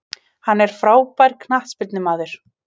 Hann er frábær knattspyrnumaður.